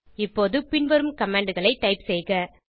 இப்போது பின்வரும் commandகளை டைப் செய்க